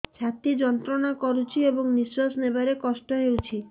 ଛାତି ଯନ୍ତ୍ରଣା କରୁଛି ଏବଂ ନିଶ୍ୱାସ ନେବାରେ କଷ୍ଟ ହେଉଛି